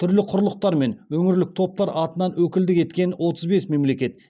түрлі құрлықтар мен өңірлік топтар атынан өкілдік еткен отыз бес мемлекет